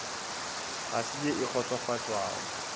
ga se ye e kgotsofatšago